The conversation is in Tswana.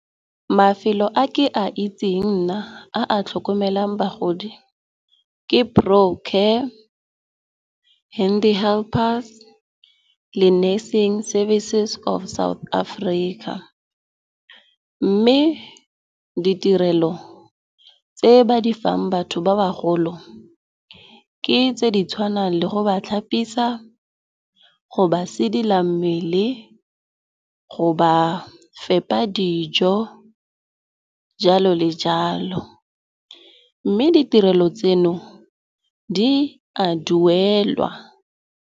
Mafelo a ke a itseng nna a a tlhokomelang bagodi ke Brooklyn Care, Handy Helpers le Nursing Services of South Africa. Mme ditirelo tse ba di fang batho ba bagolo ke tse di tshwanang le go ba tlhapisiwa, go ba sedila mmele, go ba fepa dijo, jalo le jalo. Mme ditirelo tseno di a duelwa.